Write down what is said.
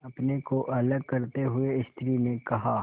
अपने को अलग करते हुए स्त्री ने कहा